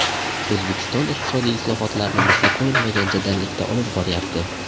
O‘zbekiston iqtisodiy islohotlarni misli ko‘rilmagan jadallikda olib boryapti.